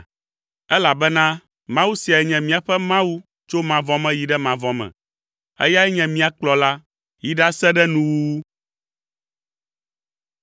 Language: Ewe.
elabena Mawu siae nye míaƒe Mawu tso mavɔ me yi ɖe mavɔ me; eyae anye mía kplɔla yi ɖase ɖe nuwuwu.